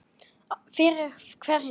Fyrir hverja